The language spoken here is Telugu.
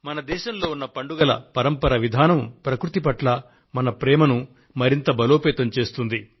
మన దేశంలో ఉన్న పండుగల పరంపర విధానం ప్రకృతి పట్ల మన ప్రేమను మరింత బలోపేతం చేస్తుంది